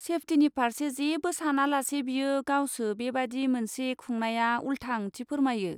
सेफटिनि फारसे जेबो सानालासे बियो गावसो बेबादि मोनसे खुंनाया उल्था ओंथि फोरमायो।